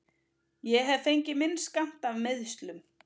Ég hef fengið minn skammt af meiðslum.